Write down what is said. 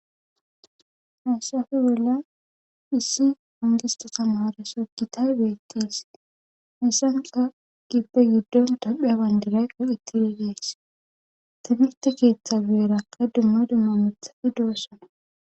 hayssafe bolla issi ongistatama haareso gitay beettiis hassanka gippe giddon dophe abandirayqo itti dedees timirte keeththa beerakka dumma dumma mithati doosana